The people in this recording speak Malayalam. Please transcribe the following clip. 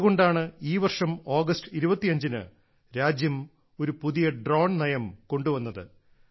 അതുകൊണ്ടാണ് ഈ വർഷം ഓഗസ്റ്റ് 25 ന് രാജ്യം ഒരു പുതിയ ഡ്രോൺ നയം കൊണ്ടുവന്നത്